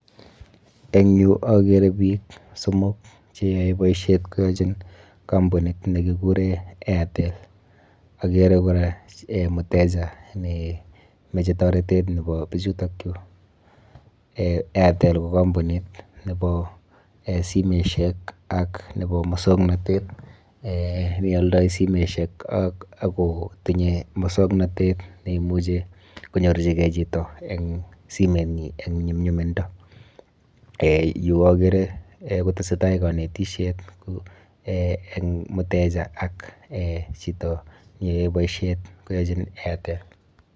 Eng yu akere biik somok cheyoe boisiet koyochin kampunit nekikure Airtel. Akere kora [um]mteja nemeche toretet nepo bichutokchu. [um]Airtel ko kampuniut nepo um simeshek ak nepo musoknotet um nealdoi simoshek ak kotinye musoknotet neimuchi konyorchikei chito eng simenyi eng nyumnyumindo. [um]Yu akere um kotesetai kanesisiet[um] eng mteja ak um chito neyoe boisiet koyochin Airtel.